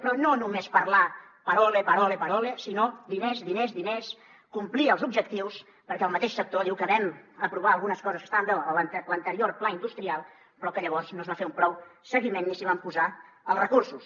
però no només parlar parole parole parole sinó diners diners diners complir els objectius perquè el mateix sector diu que vam aprovar algunes coses que estaven bé a l’anterior pla industrial però que llavors no es va fer prou seguiment ni s’hi van posar els recursos